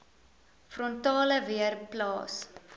frontale weer plaas